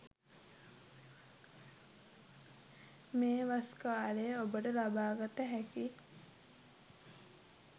මේ වස් කාලයේ ඔබට ලබාගත හැකි